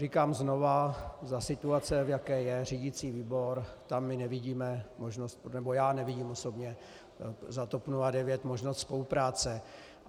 Říkám znova, za situace, v jaké je řídicí výbor, tam my nevidíme možnost, nebo já nevidím osobně za TOP 09 možnost spolupráce.